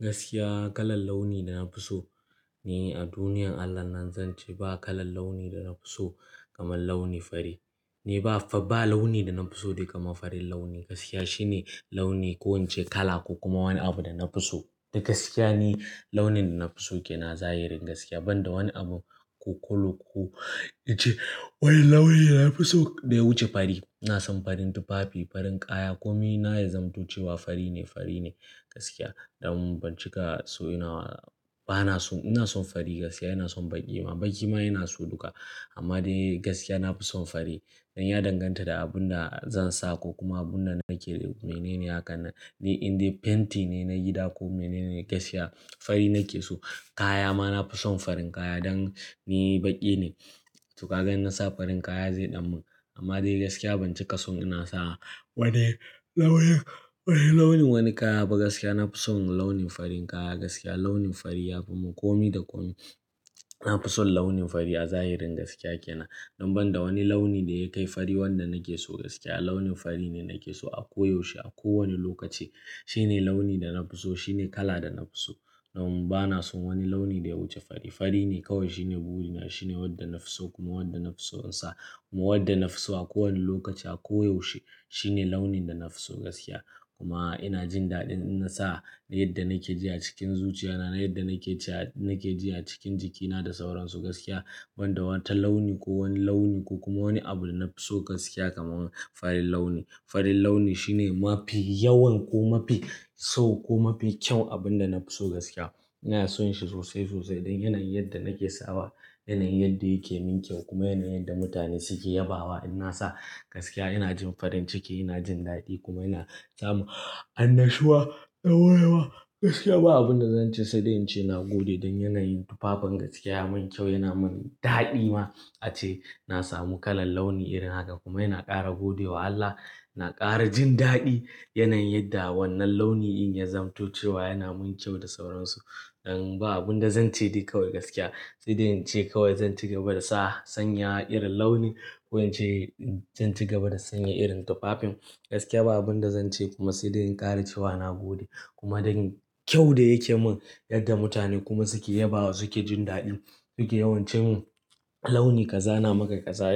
Gaskiya kalar launi da na fi so ne a duniyan Allah nan zan ce ba kalar launi da na fi so kamar launi fari. Ne ba launi da na fi so dai kamar farin launi gaskiya shine launi ko in ce kala ko kuma wani abu da na fi so. Da gaskiya ne launin da na fi so ke na zahiri gaskiya banda wani abu ko kolo ko in ce wai launin da na fi so da ya wuce fari. Na san farin tufafi, farin kaya kome na ya zamantace wa fari ne, fari ne gaskiya. Dan ban cika so ina ba na so. Ina son fari gaskiya ina son baƙi ma. Baƙi ma yana so duka amma dai gaskiya na fi son fari. Dan ya danganta da abun da zan sa ko kuma abun da nake. Mene ne hakan? Ne in dai fenti ne na gida ko mene ne gaskiya fari nake so. Kaya ma na fi son farin kaya dan ni baƙi ne. To kaga in na sa farin kaya zai ɗamu amma dai gaskiya ban cika son ina sa wani launin, wani launin wani kaya ba. Gaskiya na fi son launin farin kaya gaskiya launin fari yafi mu. Kome da komi na fi son launin fari a zahiri gaskiya ke na. Dan banda wani launi da ya kai fari wanda nake so gaskiya launin fari ne nake so a koyaushe a kowane lokaci. Shine launi da na fi so shine kala da na fi so. Dan mu bana son wani launi da ya wuce fari. Fari ne kawai shine burina shine wanda na fi so kuma wanda na fi so in sa kuma wanda na fi so a kowane lokaci a koyaushe. Shine launin da na fi so gaskiya. Kuma ina jin daɗin in na sa da yadda nake ji a cikin zuciya na da yadda nake ji a cikin jikina da sauran su gaskiya. Banda wata launi ko wani launi ko kuma wani abu da na fi so gaskiya kamar farin launi. Farin launi shine mafi yawan ko mafi sau ko mafi kyau abun da na fi so gaskiya. Ina son shi sosai sosai dan yanayin yadda nake sawa yanayin yadda yake min kyau kuma yanayin yadda mutane suke yabawa in na sa gaskiya. Ina jin farin ciki ina jin daɗi kuma yana sa mu annashuwa, ɗorewa gaskiya. Ba abun da zan ce sai dai in ce na gode don yanayin tufafin gaskiya ya mun kyau yana mun daɗi ma. Ace na samu kalar launi irin haka kuma yana ƙara gode wa Allah. Na ƙara jin daɗi yanayin yadda wannan launi in ya zamantace wa yana mun kyau da sauran su. Dan ba abun da zan ce dai kawai gaskiya sai dai in ce kawai zan ci gaba da sa sanya irin launi ko in ce zan ci gaba da sanya irin tufafin gaskiya. Ba abun da zan ce kuma sai dai in ƙara ce wa na gode. Kuma don me kyaun da yake mun yadda mutane kuma suke yabawa suke jin daɗi suke yawan ce mun launi ka zana maka ƙaza.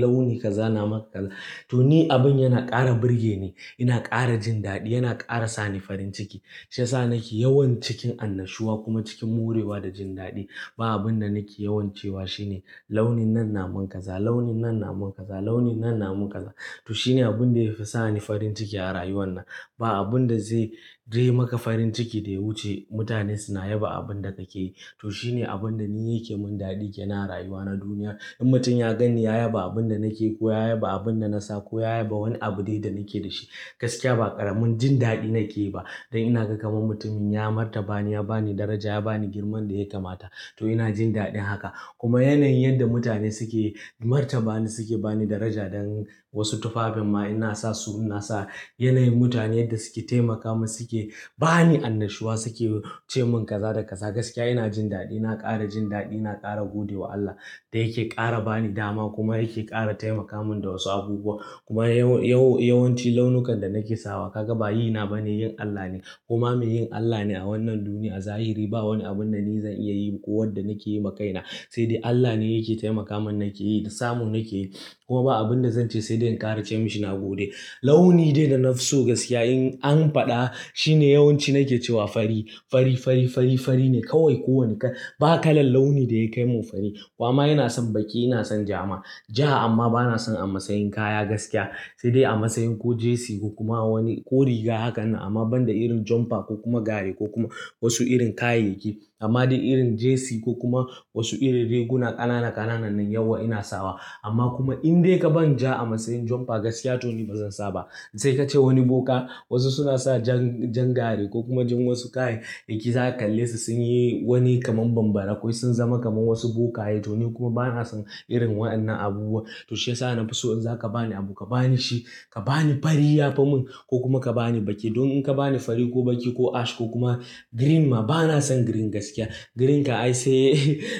Launi kaza na maka ƙaza. To ni abin yana ƙara burge ni yana ƙara jin daɗi yana ƙara sa ni farin ciki. Shi ya sa nake yawan cikin annashuwa kuma cikin morewa da jin daɗi. Ba abun da nake yawan cewa shine launin nan na mun ƙaza, launin nan na mun ƙaza, launin nan na mun ƙaza. To shine abun da yake sa ni farin ciki a rayuwar nan. Ba abun da zai yi maka farin ciki da ya wuce mutane suna yaba abun da kake yi. To shine abun da ni yake mun daɗi ke na rayuwa na duniya. In mutum ya gani ya yaba abun da nake ko ya yaba abun da na sa ko ya yaba wani abu dai da nake da shi gaskiya ba ƙaramin jin daɗi nake ba. Dan ina ga kamar mutumin ya martaba ni ya ba ni daraja ya ba ni girman da ya kamata. To ina jin daɗin haka. Kuma yanayin yadda mutane suke martaba ni suke ba ni daraja don wasu tufafin ma ina sa su ina sa. Yanayin mutane yadda suke taimaka mun suke ba ni annashuwa suke ce mun ƙaza da ƙaza gaskiya ina jin daɗi. Na ƙara jin daɗi na ƙara gode wa Allah da yake ƙara ba ni dama kuma yake ƙara taimaka mun da wasu abubuwa. Kuma yawan yawanci launukan da nake sawa ka ga ba yi na bane yin Allah ne. Kuma me yin Allah ne a wannan duniya a zahiri ba wani abun da ni zan iya yi ba ko wanda nake yi ma kaina. Sai dai Allah ne yake taimaka mun nake yi da samu nake yi. Kuma ba abun da zan ce sai dai in ƙara ce mashi na gode. Launi dai da na fi so gaskiya in an faɗa shine yawanci nake cewa fari. Fari, fari, fari, fari ne kawai kowane kala. Ba kalar launi da ya kai mun fari. Kuma ina son baƙi ina son jama'a. Ja amma bana son a matsayin kaya gaskiya. Sai dai a matsayin ko jesi ko kuma wani ko riga hakan nan. Amma banda irin jomfa ko kuma gari ko kuma wasu irin kayayyaki. Amma dai irin jesi ko kuma wasu irin riguna ƙanana ƙanana na yawa ina sawa. Amma kuma in dai ka ban ja a matsayin jomfa gaskiya to ni ba zan sa ba. Sai ka ce wani boka wasu suna sa jan gari ko kuma jan wasu kayayyaki za ka kalle su sun yi wani kamar bambara ko sun zama kamar wasu bokaye. To ni kuma bana son irin waɗannan abubuwa. To shi ya sa na fi so in za ka ba ni abu ka ba ni shi. Ka ba ni fari ya fi mun ko kuma ka ba ni baƙi. Don in ka ba ni fari ko baƙi ko ash ko kuma green ma bana son green gaskiya. Green ka ai sai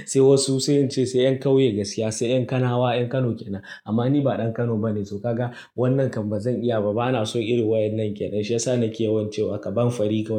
sai wasu sun ce sai 'yan ƙauye gaskiya sai 'yan kanawa 'yan Kano ke nan. Amma ni ba ɗan Kano ba ne. To kaga wannan kamar zan iya ba bana son irin waɗannan ke nan. Shi ya sa nake yawan cewa ka ban fari kawai.